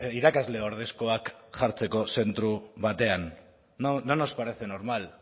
irakasle ordezkoak jartzeko zentro batean no no nos parece normal